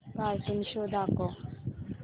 cartoon show दाखव